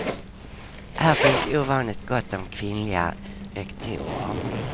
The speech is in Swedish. Här finns ovanligt gott om kvinnliga rektorer.